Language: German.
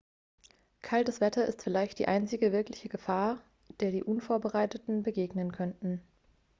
kaltes wetter ist vielleicht die einzige wirkliche gefahr der die unvorbereiteten begegnen könnten